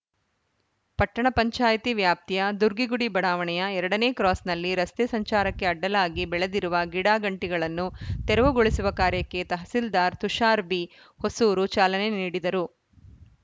ಪಟ್ಟಣ ಪಂಚಾಯ್ತಿ ವ್ಯಾಪ್ತಿಯ ದುರ್ಗಿಗುಡಿ ಬಡಾವಣೆಯ ಎರಡ ನೇ ಕ್ರಾಸ್‌ನಲ್ಲಿ ರಸ್ತೆ ಸಂಚಾರಕ್ಕೆ ಅಡ್ಡಲಾಗಿ ಬೆಳೆದಿರುವ ಗಿಡಗಂಟಿಗಳನ್ನು ತೆರವುಗೊಳಿಸುವ ಕಾರ್ಯಕ್ಕೆ ತಹಸೀಲ್ದಾರ್‌ ತುಷಾರ್‌ ಬಿಹೊಸೂರು ಚಾಲನೆ ನೀಡಿದರು